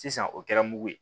Sisan o kɛra mugu ye